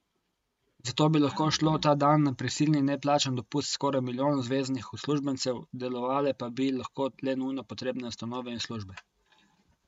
Zato bi lahko šlo ta dan na prisilni neplačan dopust skoraj milijon zveznih uslužbencev, delovale pa bi lahko le nujno potrebne ustanove in službe.